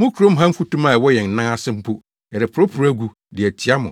‘Mo kurom ha mfutuma a ɛwɔ yɛn nan ase mpo, yɛreporoporow agu, de atia mo;